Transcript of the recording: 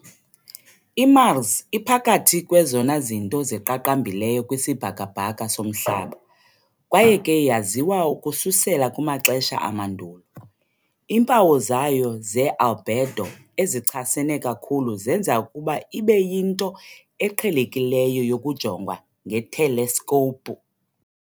IMars iphakathi kwezona zinto ziqaqambileyo kwisibhakabhaka soMhlaba, kwaye ke yaziwa ukususela kumaxesha amandulo. Iimpawu zayo ze-albedo ezichasene kakhulu zenza ukuba ibe yinto eqhelekileyo yokujongwa ngeteleskopu.